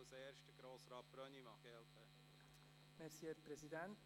Als erster hat Grossrat Brönnimann das Wort.